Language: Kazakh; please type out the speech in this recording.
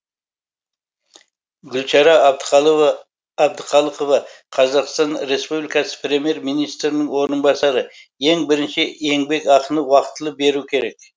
гүлшара әбдіқалықова қазақстан республикасы премьер министрінің орынбасары ең бірінші еңбекақыны уақытылы беру керек